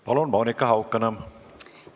Palun, Monika Haukanõmm!